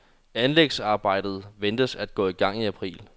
Anlægsarbejdet ventes at gå i gang i april.